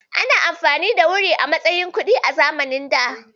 Anyi anfani da wuri a matsayin kuɗi a zamanin da.